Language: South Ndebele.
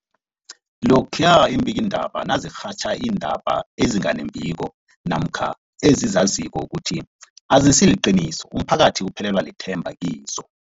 Lokhuya iimbikiindaba nazirhatjha iindaba ezinga nembiko namkha ezizaziko ukuthi azisiliqiniso, umphakathi uphelelwa lithemba kizo.